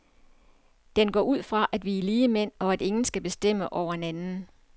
Den går ud fra, at vi er ligemænd, og at ingen skal bestemme over en anden.